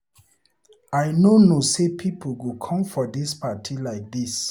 I no know say people go come for dis party like dis.